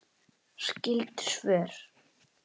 Skyld svör